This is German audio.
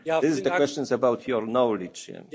Vielen Dank für die zusätzlichen Erklärungen.